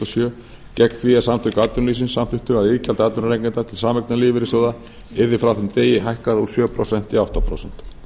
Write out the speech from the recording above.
sjö gegn því að samtök atvinnulífsins samþykktu að iðgjald atvinnurekenda til sameignarlífeyrissjóða yrði frá þeim degi hækkað úr sjö prósent í átta prósent